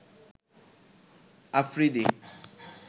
Afridi